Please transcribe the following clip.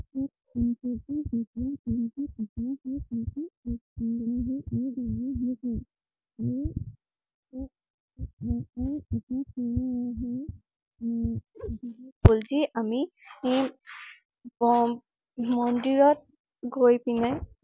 বলছি অমি উম মন্দিৰ